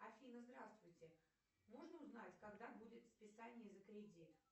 афина здравствуйте можно узнать когда будет списание за кредит